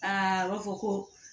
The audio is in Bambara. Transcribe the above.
Aa a b'a fɔ ko